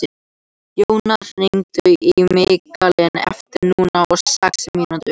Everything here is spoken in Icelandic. Jónar, hringdu í Mikkalínu eftir níutíu og sex mínútur.